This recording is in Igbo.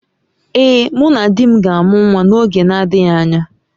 Ee, mụ na di m ga-amụ nwa n’oge na-adịghị anya